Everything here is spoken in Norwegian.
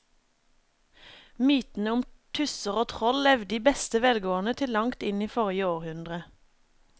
Mytene om tusser og troll levde i beste velgående til langt inn i forrige århundre.